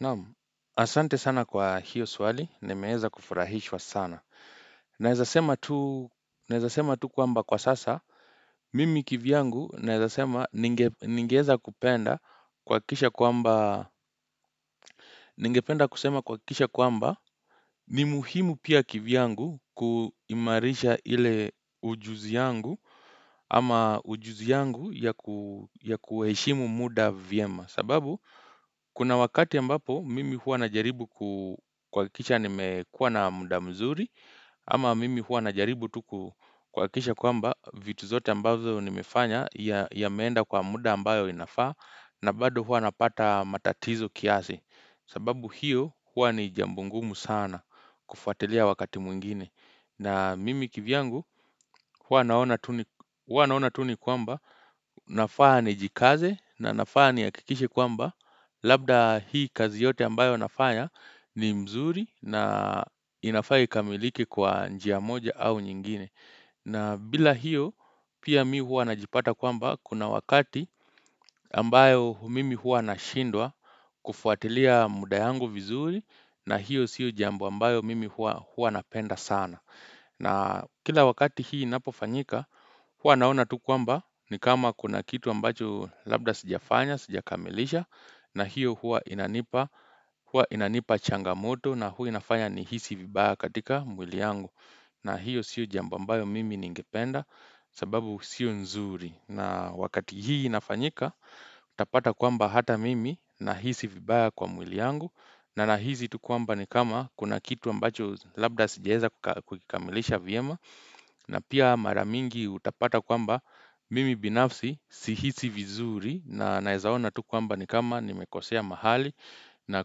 Naam, asante sana kwa hiyo swali. Nimeeza kufurahishwa sana. Naezasema tu kwamba kwa sasa, mimi kivyangu naezasema ningeeza kupenda kuhakikisha kwamba ni muhimu pia kivyangu kuimarisha ile ujuzi yangu ama ujuzi yangu ya kueshimu muda vyema. Sababu kuna wakati ambapo mimi hua na jaribu kukuhakikisha nimekuwa na muda mzuri Ama mimi hua najaribu tu kukuhakisha kwamba vitu zote ambazo nimefanya yameenda kwa muda ambayo inafaa na bado hua napata matatizo kiasi sababu hiyo hua ni jambungumu sana kufatelia wakati mwingine na mimi kivyangu huwa naona tu ni kwamba nafaa nijikaze na nafaa nihakikishe kwamba Labda hii kazi yote ambayo nafanya ni mzuri na inafaa ikamilike kwa njia moja au nyingine na bila hiyo pia mi huwa najipata kwamba kuna wakati ambayo mimi huwa nashindwa kufuatilia muda yangu vizuri na hiyo siu jambo ambayo mimi huwa napenda sana na kila wakati hii inapofanyika, huwa naona tu kwamba ni kama kuna kitu ambacho labda sijafanya, sijakamilisha, na hiyo huwa inanipa changamoto na hua inafanya nihisi vibaya katika mwili yangu. Na hiyo sio jambo ambayo mimi ningependa sababu sio nzuri. Na wakati hii inafanyika, utapata kwamba hata mimi nahisi vibaya kwa mwili yangu na nahisi tu kwamba ni kama kuna kitu ambacho labda sijaeza kukikamilisha viema na pia mara mingi utapata kwamba mimi binafsi sihisi vizuri na naezaona tu kwamba ni kama nimekosea mahali na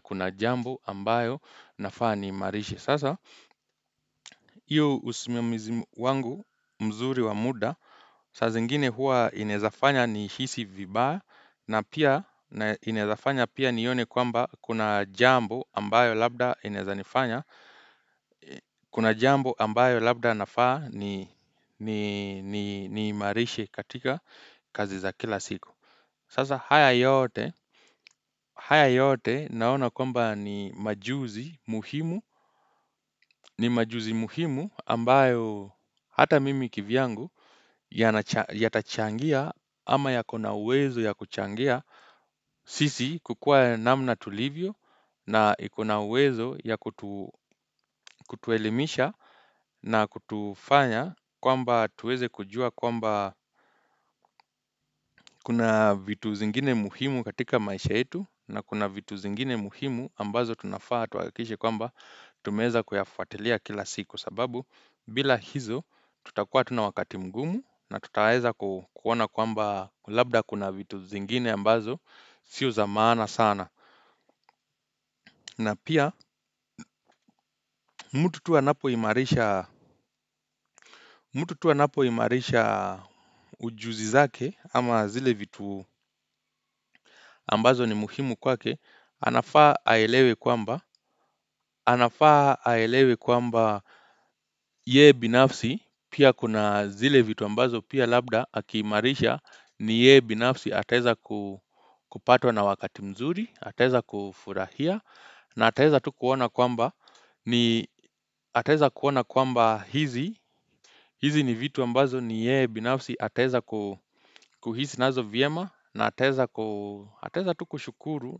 kuna jambo ambayo nafaa niimarishe sasa Iyo usimiamizi wangu mzuri wa muda Sazingine huwa inezafanya nihisi vibaya na pia inezafanya pia nione kwamba kuna jambo ambayo labda inezanifanya Kuna jambo ambayo labda nafaa niimarishe katika kazi za kila siku Sasa haya yote naona kwamba ni majuzi muhimu ni majuzi muhimu ambayo hata mimi kivyangu yatachangia ama ya kuna uwezo ya kuchangia sisi kukua namna tulivyo na iko na uwezo ya kutuelimisha na kutufanya kwamba tuweze kujua kwamba kuna vitu zingine muhimu katika maisha yetu na kuna vitu zingine muhimu ambazo tunafaa tuahakikishe kwamba tumeza kuyafuatilia kila siku sababu bila hizo, tutakuwa tu na wakati mgumu na tutaweza kuona kwamba labda kuna vitu zingine ambazo, sio za maana sana. Na pia, mtu tu anapoimarisha ujuzi zake ama zile vitu ambazo ni muhimu kwake, anafaa aelewe kwamba yeye binafsi, pia kuna zile vitu ambazo, Pia labda akiimarisha ni ye binafsi atezakupatwa na wakati mzuri Ateza kufurahia na ateza tu kuona kwamba Ataezakuona kwamba hizi hizi ni vitu ambazo ni yeye binafsi atezakuhizi nazo vyema na ateza tuk ushukuru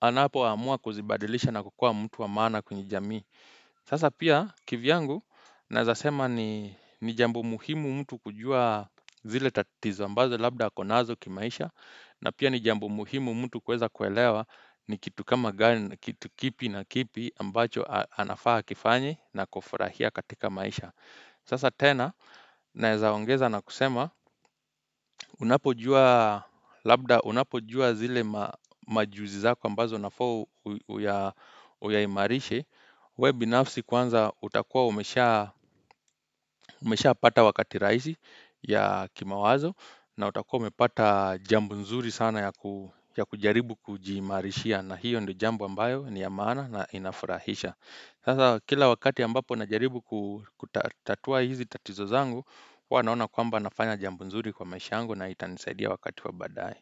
Anapoamua kuzibadilisha na kukua mtu wa maana kwenye jami Sasa pia kivyangu nezasema ni jambo muhimu mtu kujua zile tatizo ambazo labda ako nazo kimaisha na pia ni jambo muhimu mtu kueza kuelewa ni kitu kipi na kipi ambacho anafaa akianye na kufurahia katika maisha. Sasa tena, naezaongeza na kusema, unapojua labda, unapojua zile majuzi zako ambazo inafaa uyaimarishe, we binafsi kwanza utakua umeshapata wakati rahisi ya kimawazo na utakua umepata jambo nzuri sana ya kujaribu kujiimarishia na hiyo ndo jambo ambayo ni ya maana na inafurahisha. Sasa kila wakati ambapo najaribu kutatua hizi tatizo zangu, huwa naona kwamba nafanya jambo nzuri kwa maisha yangu na itanisaidia wakati wa badai.